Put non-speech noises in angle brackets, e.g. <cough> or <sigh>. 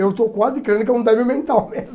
Eu estou quase crendo que é um débil mental mesmo. <laughs>